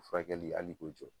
Fulrakɛi hali k'o jɔ